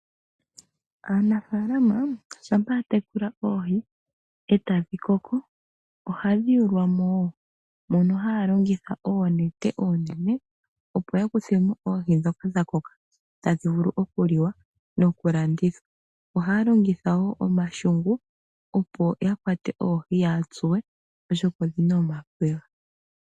Aanafaalama shampa ya tekula oohi etadhi koko, ohadhi yulwamo woo, mono haya longitha oonete oonene opo ya kuthemo oohi ndhoka dha koka tadhi vulu okuliwa noku landithwa. Ohaya longitha woo omashungu opo ya kwate oohi, yaatsuwe, oshoka odhina omakwega.